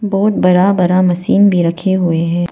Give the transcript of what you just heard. बहुत बड़ा बड़ा मशीन भी रखे हुए हैं।